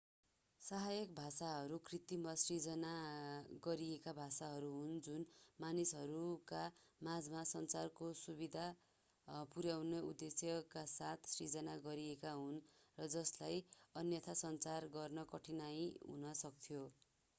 सहायक भाषाहरू कृत्रिम वा सिर्जना गरिएका भाषाहरू हुन् जुन मानिसहरूका माझमा सञ्चारको सुविधा पुर्‍याउने उद्देश्यका साथ सिर्जना गरिएका हुन् र जसलाई अन्यथा सञ्चार गर्नमा कठिनाइ हुन सक्थ्यो।